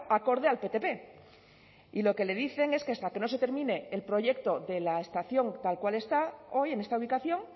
acorde al ptp y lo que le dicen es que hasta que no se termine el proyecto de la estación tal cual está hoy en esta ubicación